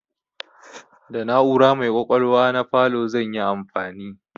Da na'ura mai ƙwaƙwalwa na falo zan yi amfani.